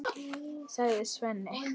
sagði Svenni.